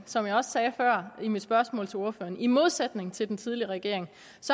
som jeg også sagde før i mit spørgsmål til ordføreren i modsætning til den tidligere regering